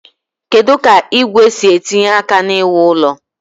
Kedu ka igwe si etinye aka n'iwu ụlọ?